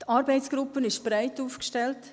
Die Arbeitsgruppe ist breit aufgestellt.